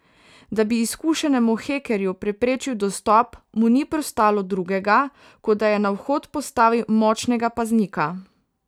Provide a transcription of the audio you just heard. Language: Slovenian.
Da bi izkušenemu hekerju preprečil dostop, mu ni preostalo drugega, kot da je na vhod postavil močnega paznika.